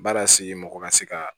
Baara sigi mɔgɔ ka se ka